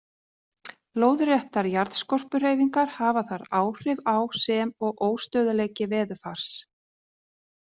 Lóðréttar jarðskorpuhreyfingar hafa þar áhrif á sem og óstöðugleiki veðurfars.